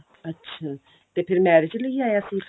ਅੱਛਾ ਤੇ ਫੇਰ marriage ਲਈ ਆਇਆ ਸੀ ਇੱਥੇ